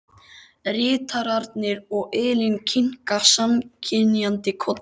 Ritararnir og Elín kinka samþykkjandi kolli.